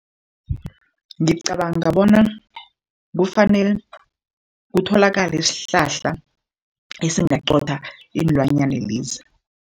Ngicabanga bona kufanele kutholakale isihlahla esingaqotha iinlwanyana lezi.